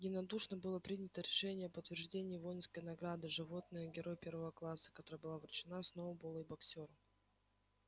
единодушно было принято решение об утверждении воинской награды животное герой первого класса которая была вручена сноуболлу и боксёру